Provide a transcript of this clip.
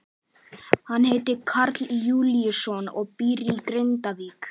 Hann heitir Karl Júlíusson og býr í Grindavík.